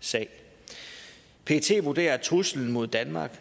sag pet vurderer at truslen mod danmark